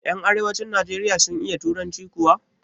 Yan arewacin nijeriya sun iya turanci kuwa?